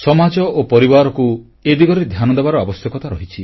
ସମାଜ ଓ ପରିବାରକୁ ଏ ଦିଗରେ ଧ୍ୟାନ ଦେବାର ଆବଶ୍ୟକତା ରହିଛି